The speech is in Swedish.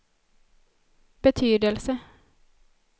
betydelse